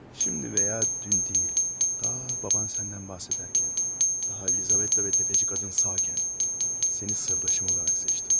İndi və ya dünən deyil, atan səndən bəhs edərkən, Lizavetta və sələmçi qadın sağ ikən, səni sirdaşım olaraq seçdim.